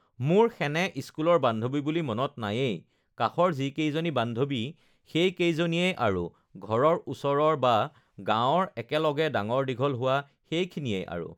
মোৰ সেনে স্কুলৰ বান্ধৱী বুলি মনত নাইয়েই কাষৰ যিকেইজনী বান্ধৱী সেই কেইজনীয়েই আৰু ঘৰৰ ওচৰৰ বা গাঁৱৰ একেলগে ডাঙৰ দীঘল হোৱা সেইখিনিয়েই আৰু